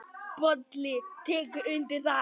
Bolli tekur undir það.